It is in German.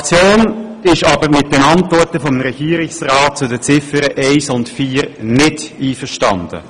Die Fraktion ist aber mit den Antworten des Regierungsrats zu den Ziffern 1 und 4 nicht einverstanden.